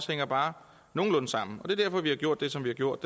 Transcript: hænger bare nogenlunde sammen er derfor vi har gjort det som vi har gjort